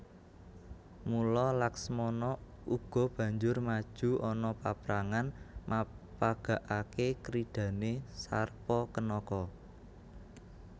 Mula Laksmana uga banjur maju ana paprangan mapagagaké kridhané Sarpakenaka